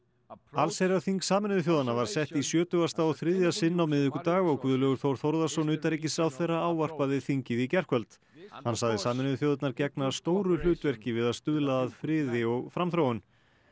allsherjarþing Sameinuðu þjóðanna var sett í sjötugasta og þriðja sinn á miðvikudag og Guðlaugur Þór Þórðarson utanríkisráðherra ávarpaði þingið í gærkvöld hann sagði Sameinuðu þjóðirnar gegna stóru hlutverki við að stuðla að friði og framþróun